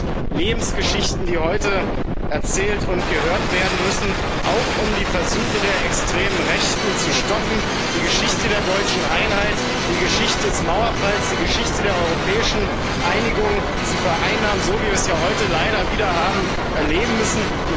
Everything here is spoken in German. Das sind Lebensgeschichten, die heute erzählt und gehört werden müssen, auch um die Versuche der extremen Rechten zu stoppen, die Geschichte der deutschen Einheit, die Geschichte des Mauerfalls, die Geschichte der europäischen Einigung zu vereinnahmen, so wie wir es ja heute leider wieder haben erleben müssen.